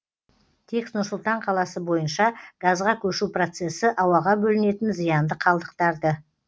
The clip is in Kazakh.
тек нұр сұлтан қаласы бойынша газға көшу процесі ауаға бөлінетін зиянды қалдықтарды